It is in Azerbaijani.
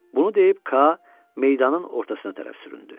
Bunu deyib Ka meydanın ortasına tərəf süründü.